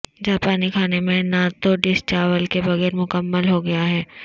جاپانی کھانے میں نہ تو ڈش چاول کے بغیر مکمل ہو گیا ہے